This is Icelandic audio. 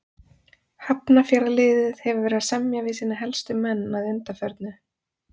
Hafnarfjarðarliðið hefur verið að semja við sína helstu menn að undanförnu.